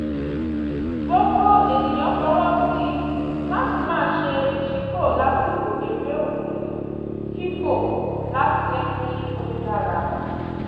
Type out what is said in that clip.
gbogbo ènìyàn fọwọ́ sí i láti máa ṣe ìṣípò lásìkò eré oní-fífò láti jẹ́ kí ó dára